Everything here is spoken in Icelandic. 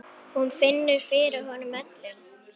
Hún finnur fyrir honum öllum.